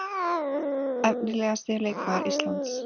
Efnilegasti leikmaður Íslands?